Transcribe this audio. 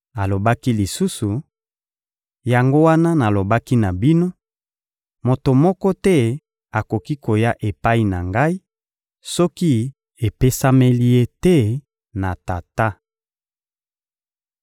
Alobaki lisusu: — Yango wana nalobaki na bino: «Moto moko te akoki koya epai na Ngai soki epesameli ye te na Tata.»